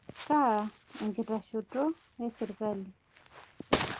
Kaa enkitashoto esirkali?